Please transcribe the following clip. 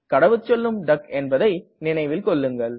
கடவுச்சொல்லும் டக் என்பதை நினைவில்கொள்ளுங்கள்